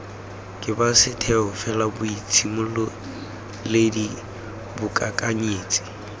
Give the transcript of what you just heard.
ke ba setheo felaboitshimololedi boikakanyetsi